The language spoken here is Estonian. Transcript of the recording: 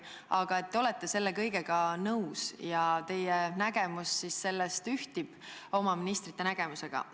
Aga te olete selle kõigega nõus ja teie nägemus ühtib nende ministrite nägemusega.